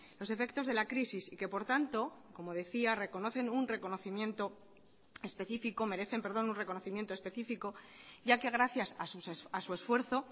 los efectos de la crisis y que por tanto como decía merecen un reconocimiento específico ya que gracias a su esfuerzo